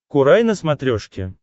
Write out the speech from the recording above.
курай на смотрешке